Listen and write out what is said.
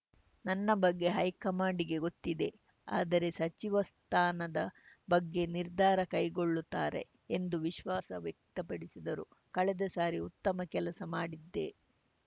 ನನ್ನ ಬಗ್ಗೆ ಹೈಕಮಾಂಡ್‌ಗೆ ಗೊತ್ತಿದೆ ಆದರೇ ಸಚಿವ ಸ್ಥಾನದ ಬಗ್ಗೆ ನಿರ್ಧಾರ ಕೈಗೊಳ್ಳುತ್ತಾರೆ ಎಂದು ವಿಶ್ವಾಸ ವ್ಯಕ್ತಪಡಿಸಿದರು ಕಳೆದ ಸಾರಿ ಉತ್ತಮ ಕೆಲಸ ಮಾಡಿದ್ದೆ